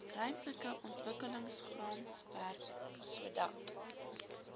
ruimtelike ontwikkelingsraamwerk sodat